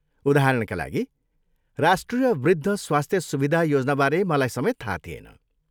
उदाहरणका लागि, राष्ट्रिय वृद्ध स्वास्थ्य सुविधा योजनाबारे मलाई समेत थाहा थिएन।